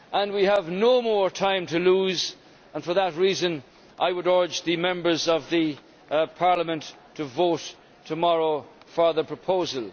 We have no more time to lose and for that reason I would urge the Members of Parliament to vote tomorrow for the proposal.